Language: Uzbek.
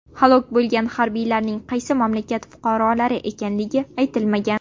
Halok bo‘lgan harbiylarning qaysi mamlakat fuqarolari ekanligi aytilmagan.